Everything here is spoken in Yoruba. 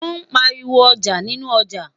wón pariwo ọjà nínú ọja